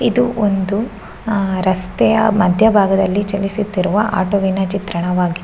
ಇದು ಒಂದು ಅಹ್ ರಸ್ತೆಯ ಮಧ್ಯಬಾಗದಲ್ಲಿ ಚಲಿಸುತ್ತಿರುವ ಆಟೋವಿನ ಚಿತ್ರಣವಾಗಿದ್ದು.